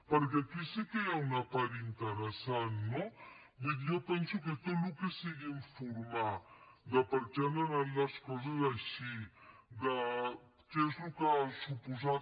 perquè aquí sí que hi ha una part interessant no vull dir jo penso que tot el que sigui informar de per què han anat les coses així de què és el que ha suposat